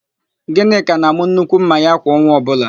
Gịnịka na-àmụ́ nnukwu ḿmà ya kwa ọnwa ọbụla.